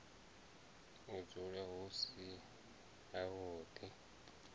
u dzula hu si havhuḓi